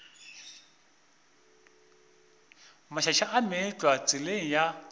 mašaša a meetlwa tseleng ya